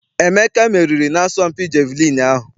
Emeka meriri na-asọmpi jeviliini ahụ.